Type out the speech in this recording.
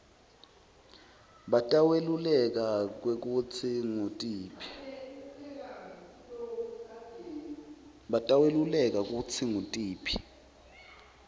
bataweluleka kwekutsi ngutiphi